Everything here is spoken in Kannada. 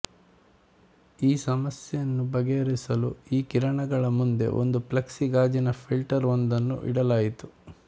ಈ ಸಮಸ್ಯೆನ್ನು ಬಗೆಹರಿಸಲು ಈ ಕಿರಣಗಳ ಮುಂದೆ ಒಂದು ಪ್ಲೆಕ್ಸಿ ಗಾಜಿನ ಫಿಲ್ಟರ್ ಒಂದನ್ನು ಇಡಲಾಯಿತು